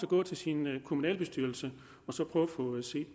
gå til sin kommunalbestyrelse og så